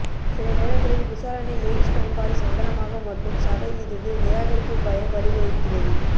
சில நேரங்களில் விசாரணை எய்ட்ஸ் பயன்பாடு சங்கடமாக மற்றும் சக இருந்து நிராகரிப்பு பயம் வழிவகுக்கிறது